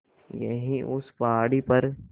यहीं उस पहाड़ी पर